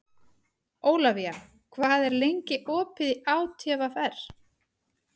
Ólafía, hvað er lengi opið í ÁTVR?